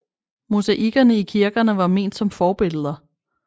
Mosaikkerne i kirkerne var ment som forbilleder